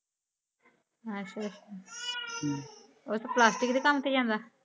ਆਚਾ ਹਮ ਓਹ ਤੋ ਪਲਾਸਟਿਕ ਦੇ ਕਾਮ ਤੇ ਜਾਂਦਾ